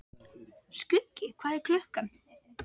Skuggi, hvað er klukkan?